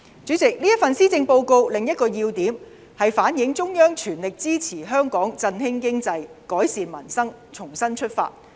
主席，這份施政報告另一個要點是反映中央全力支持香港振興經濟，改善民生，重新出發。